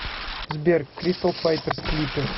сбер кристал файтерс клипы